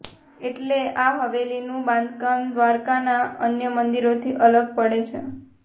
એટલે આ હવેલીનું બાંધકામ દ્વારકાના અન્ય મંદિરોથી અલગ પડે છે